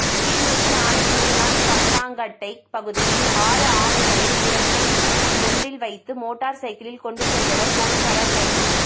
கிளிநொச்சி ஆனைவிழுந்தான் பத்தாங்கட்டை பகுதியில் ஆறு ஆமைகளை உரப்பை ஒன்றில் வைத்து மோட்டர் சைக்கில் கொண்டு சென்றவர் பொலிசாரால் கைது